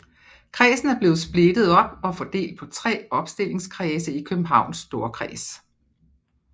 Kredsen er blevet splittet op og fordelt på tre opstillingskredse i Københavns Storkreds